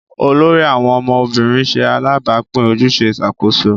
olórí àwọn ọmọ obìrin ṣe alabapin ojúṣe Ìṣàkóso